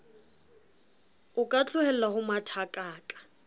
o ka tlohella ho mathakaka